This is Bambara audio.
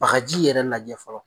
Bagaji yɛrɛ lajɛ fɔlɔ.